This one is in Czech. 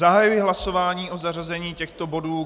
Zahajuji hlasování o zařazení těchto bodů.